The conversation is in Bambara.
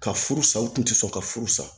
Ka furu sa u kun tɛ sɔn ka furu sa